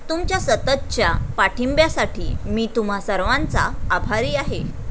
तुमच्या सततच्या पाठिंब्यासाठी मी तुम्हा सर्वांचा आभारी आहे.